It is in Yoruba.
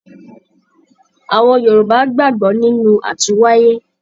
Àwọn Yorùbá gbàgbọ́ nínú àtúnwáyé.